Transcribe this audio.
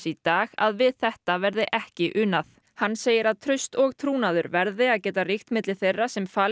í dag að við þetta verði ekki unað hann segir að traust og trúnaður verði að geta ríkt milli þeirra sem falin